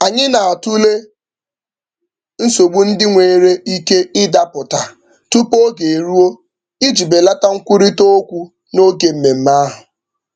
Anyị na-atụle nsogbu ndị nwere ike Ịdapụta tupu oge eruo iji belata nkwurịtaokwu n'oge mmemme ahụ.